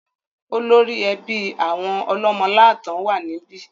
Olórí ẹbí àwọn Ọlọ́mọ́láàtan wà níbí.